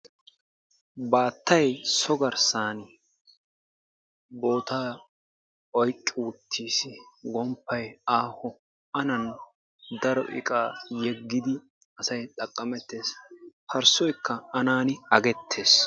Baattay so garssaan bootaa oyqqi uttiis. gomppay aaho anan daro iqqaa yeggidi asay xaqqamettees. parssoykka anan aggetees.